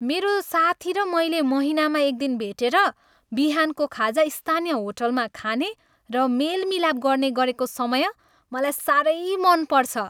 मेरो साथी र मैले महिनामा एकदिन भेटेर बिहानको खाजा स्थानीय होटलमा खाने र मेलमिलाप गर्ने गरेको समय मलाई साह्रै मन पर्छ।